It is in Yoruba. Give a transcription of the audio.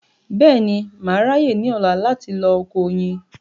Bẹ́ẹ̀ni, mà á ráyè ní ọ̀la láti lọ oko oyin